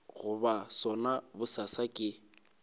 go ba sona bosasa ke